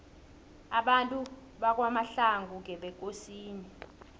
abantu bakwamahlangu ngebekosini